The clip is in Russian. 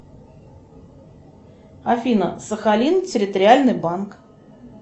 афина сахалин территориальный банк